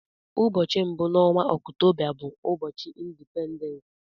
Ụbọchị mbụ n'onwa Ọktoba bu ubochi Indipendens.